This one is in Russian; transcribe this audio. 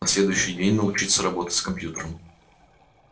на следующий день научиться работать с компьютером